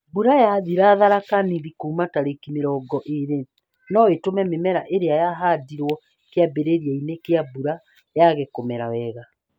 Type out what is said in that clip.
Mbura yathira Tharaka Nithi kuuma tarĩki mĩrongo ĩĩrĩ no ĩtũme mĩmera ĩria yahandirwo kĩambĩrĩria-inĩ kĩa mbura yage kũmera wega